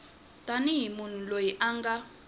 tanihi munhu loyi a nga